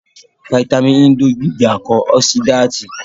Fítámìnì E ń dojú ìjà kọ ọ́sídáàtì